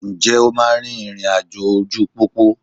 Ǹjẹ́ o máa rin ìrìn àjò ojú pópó?